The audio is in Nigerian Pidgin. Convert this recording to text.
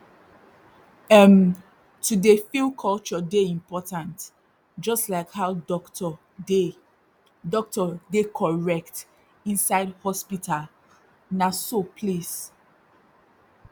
erm to dey feel culture dey important jus like how dokto dey dokto dey correct inside hospital na so place